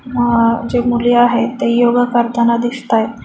अह जे मुले आहे ते योगा करताना दिसतायेत.